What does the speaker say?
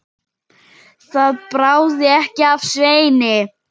Það bráði ekki af Sveini.